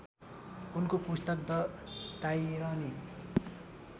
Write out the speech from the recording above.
उनको पुस्तक the tyranny